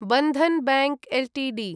Bandhan bank Ltd